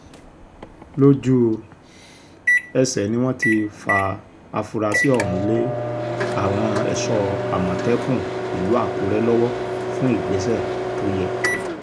lójú-ẹsẹ̀ ni wọ́n ti fa afurasí ọ̀hún lé àwọn ẹ̀ṣọ́ àmọ̀tẹ́kùn ìlú àkùrẹ́ lọ́wọ́ fún ìgbésẹ̀ tó yẹ